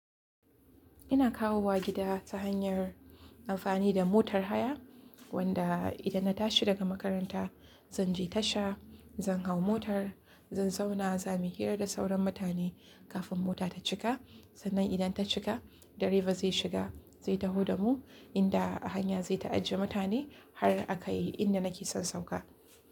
Ina kawowa gida ta hanyar amfani da motar haya, wanda idan na tashi daga makaranta zan je tasha, zan hau motar, zan zauna za muyi hira da sauran mutane kafin mota ta cika. Sannan idan ta cika, direba zai shiga zai taho da mu, inda a hanya zai ta ajiye mutane har akai inda nake son sauka.